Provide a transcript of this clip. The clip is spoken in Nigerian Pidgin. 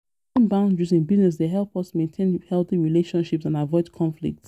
Setting boundaries in business dey help us maintain healthy relationships and avoid conflicts.